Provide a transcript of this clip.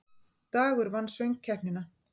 Dagur vann Söngkeppnina